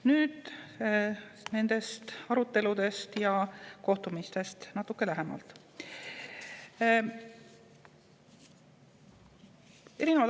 Nüüd aruteludest ja kohtumistest natuke lähemalt.